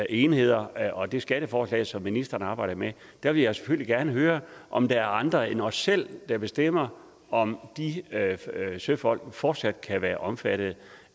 enheder og det skatteforslag som ministeren arbejder med vil jeg selvfølgelig gerne høre om der er andre end os selv der bestemmer om de søfolk fortsat kan være omfattet